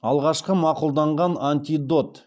алғашқы мақұлданған антидот